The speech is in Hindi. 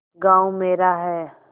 गॉँव मेरा है